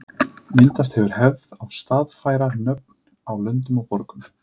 Myndast hefur hefð að staðfæra nöfn á löndum og borgum.